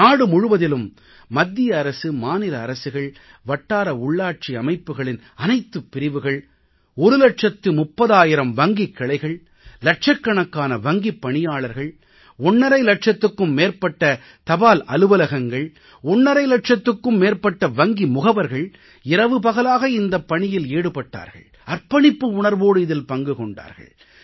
நாடு முழுவதிலும் மத்திய அரசு மாநில அரசுகள் வட்டார உள்ளாட்சி அமைப்புக்களின் அனைத்துப் பிரிவுகள் ஒரு இலட்சத்து 30000 வங்கிக் கிளைகள் இலட்சக்கணக்கான வங்கிப் பணியாளர்கள் ஒண்ணரை இலட்சத்துக்கும் மேற்பட்ட தபால் அலுவலகங்கள் ஒண்ணரை இலட்சத்துக்கும் மேற்பட்ட வங்கி முகவர்கள் இரவு பகலாக இந்தப் பணியில் ஈடுபட்டார்கள் அர்ப்பணிப்பு உணர்வோடு இதில் பங்கு கொண்டார்கள்